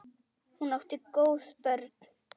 Hún átti góð börn.